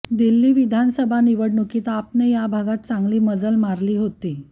दिल्ली विधानसभा निवडणुकीत आपने या भागात चांगली मजल मारली होती